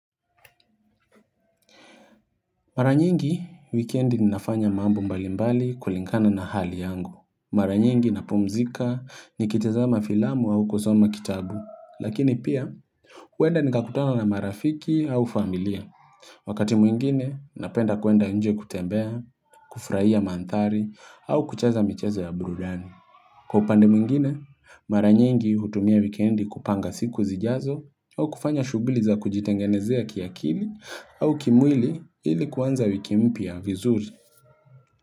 Mara nyingi, weekendi ninafanya mambo mbalimbali kulingana na hali yangu. Mara nyingi napumzika nikitazama filamu au kuzoma kitabu. Lakini pia, huenda nikakutana na marafiki au familia. Wakati mwingine, napenda kuenda nje kutembea, kufurahia mandhari, au kucheza micheza ya burudani. Kwa upande mwingine, mara nyingi hutumia wikendi kupanga siku zijazo au kufanya shuguli za kujitengenezea kiakili au kimwili ili kuanza wiki mpya vizuri.